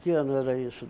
Que ano era isso?